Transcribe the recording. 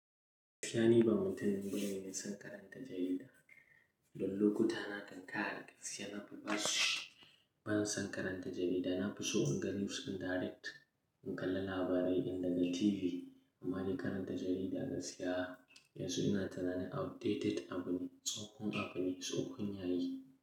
Gaskiya niba mutumin bane irin mai son karanta jarida. Don lokuta na kankara, siyasa na fi basu. Ban son karanta jarida, na fi so in gani wasu direct, in kalla labarai in daga TV. Amma je karanta jarida gaskiya, yanzu ina tunanin outdated abu ne, tsohon abu ne, tsohon yayi.